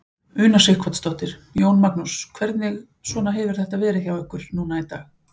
Una Sighvatsdóttir: Jón Magnús, hvernig svona hefur þetta verið hjá ykkur núna í dag?